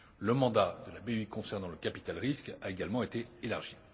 Le mandat de la BEI concernant le capital risque a également été élargi.